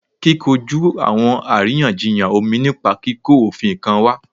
Ti koju awọn ariyanjiyan omi nipa kiko ofin kan wa